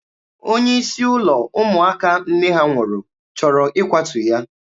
Onye isi ụlọ ụmụaka nne ha nwụrụ chọrọ ịkwatu ya.